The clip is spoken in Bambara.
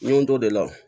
N ye n t'o de la